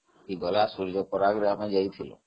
ସେଠିକି ଆମେ ସୂର୍ଯାପରାଗରେ ଯାଇଥିଲୁ